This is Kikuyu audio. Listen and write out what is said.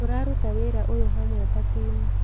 Tũraruta wĩra ũyũ hamwe ta timu